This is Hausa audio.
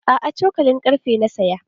A'a, cokalin karfe na saya.